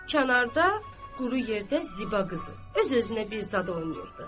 Kənarda quru yerdə Ziba qızı öz-özünə bir zad oynayırdı.